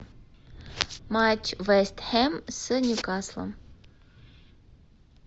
матч вест хэм с ньюкаслом